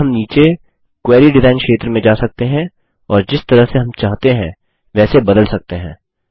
अब हम नीचे क्वेरी डिज़ाइन क्षेत्र में जा सकते हैं और जिस तरह से हम चाहते हैं वैसे बदल सकते हैं